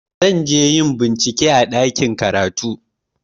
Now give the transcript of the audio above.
Zan je yin bincike a ɗakin karatu.